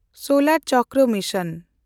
ᱥᱳᱞᱮᱱᱰᱪᱚᱨᱠᱚ mission